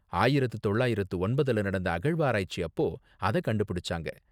ஆயிரத்து தொள்ளாயிரத்து ஒன்பதுல நடந்த அகழ்வாராய்ச்சி அப்போ அத கண்டுபிடிச்சாங்க.